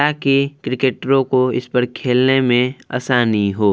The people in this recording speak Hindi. ताकि क्रिकेटरों को इस पर खेलने में आसानी हो।